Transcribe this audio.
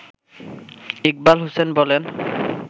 ইকবাল হোসেন বলেন